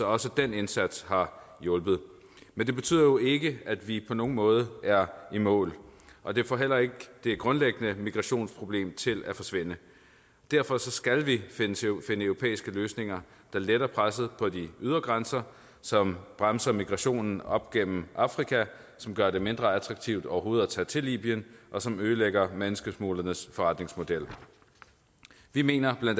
også den indsats har hjulpet men det betyder jo ikke at vi på nogen måde er i mål og det får heller ikke det grundlæggende migrationsproblem til at forsvinde derfor skal vi finde europæiske løsninger der letter presset på de ydre grænser som bremser migrationen op gennem afrika som gør det mindre attraktivt overhovedet at tage til libyen og som ødelægger menneskesmuglernes forretningsmodel vi mener bla